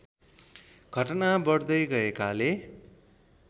घटना बढ्दै गएकाले